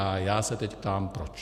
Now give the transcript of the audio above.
A já se teď ptám proč.